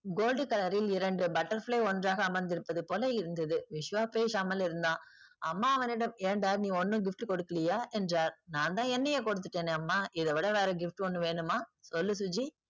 gold color ல் இரண்டு butterfly ஒன்றாக அமர்ந்திருப்பது போல இருந்தது. விஸ்வா பேசாமல் இருந்தான். அம்மா அவனிடம் ஏன்டா நீ ஒண்ணும் gift கொடுக்கலையா என்றார். நான் தான் என்னையே கொடுத்துட்டேனே அம்மா இதை விட வேற gift ஒண்ணு வேணுமா சொல்லு சுஜி?